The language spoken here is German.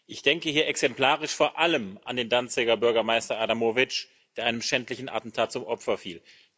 Ich denke hier exemplarisch vor allem an den Danziger Bürgermeister Adamowicz, der einem schändlichen Attentat zum Opfer fiel.